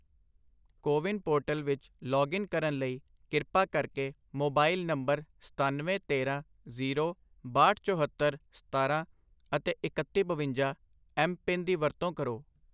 CoWIN portal ਵਿੱਚ login ਕਰਨ ਲਈ ਕਿਰਪਾ ਕਰਕੇ ਮੋਬਾਈਲ ਨੰਬਰ ਸਤਾਨਵੇਂ ਤੇਰਾਂ ਜੀਰੋ ਬਾਹਟ ਚੌਹੱਤਰ ਸਤਾਰਾਂ ਅਤੇ ਇਕੱਤੀ ਬਵੰਜਾ ਐੱਮ ਪਿੰਨ ਦੀ ਵਰਤੋਂ ਕਰੋ